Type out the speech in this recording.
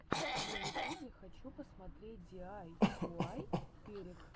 на ютубе хочу посмотреть диайуай перек